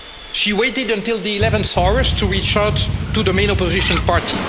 She waited until the 11th hour to reach out to the main opposition party.